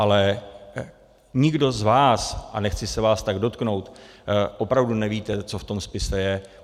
Ale nikdo z vás, a nechci se vás tak dotknout, opravdu nevíte, co v tom spise je.